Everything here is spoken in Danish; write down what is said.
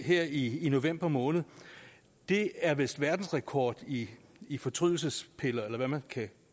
her i november måned det er vist verdensrekord i i fortrydelsespiller eller hvad man kan